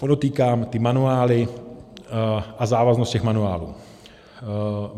Podotýkám, ty manuály a závaznost těch manuálů.